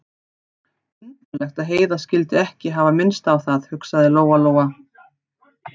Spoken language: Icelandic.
Undarlegt að Heiða skyldi ekki hafa minnst á það, hugsaði Lóa-Lóa.